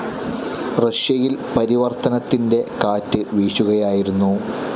റഷ്യയിൽ പരിവർത്തനത്തിൻ്റെ കാറ്റ് വീശുകയായിരുന്നു.